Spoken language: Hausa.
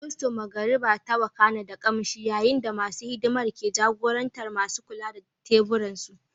A Gusto, magariba ta wakana da kamshin, yayin da masu hidima ke jagorantar masu kula da teburinsu.